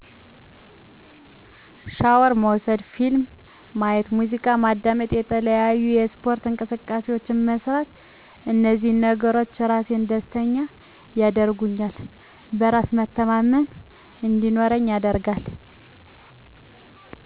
ሻወር መውሰድ ፊልም ማየት ሙዚቃ ማዳመጥ የተለያዪ የስፓርት እንቅስቃሴዎችን መስራት እንዚህ ነገሮች ራሴን ደስተኛ ያደርጉኛል በራስ መተማመን እንዲኖረኝ ያደርጋል